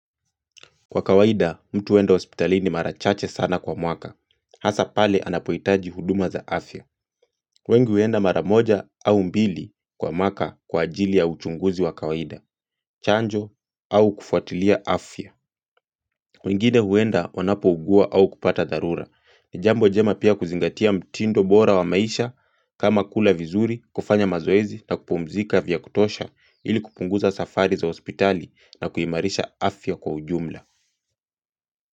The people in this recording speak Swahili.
Kwa kawaida, mtu huenda hospitalini marachache sana kwa mwaka. Hasapale anapohitaji huduma za afya. Wengi huenda maramoja au mbili kwa mwaka kwa ajili ya uchunguzi wa kawaida. Chanjo au kufuatilia afya. Wengine huenda wanapo ugua au kupata dharura. Nijambo jema pia kuzingatia mtindo bora wa maisha kama kula vizuri, kufanya mazoezi na kupumzika vya kutosha ili kupunguza safari za hospitali na kuimarisha afya kwa ujumla.